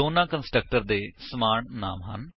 ਦੋਨਾਂ ਕੰਸਟਰਕਟਰ ਦੇ ਸਮਾਨ ਨਾਮ ਹਨ